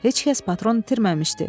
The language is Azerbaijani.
Heç kəs patron itirməmişdi.